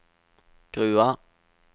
Grua